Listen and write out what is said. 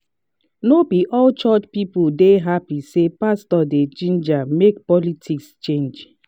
no be all church people dey happy say pastor dey ginger make politics change